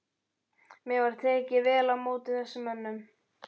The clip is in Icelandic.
Mér var tekið vel af öllum þessum mönnum.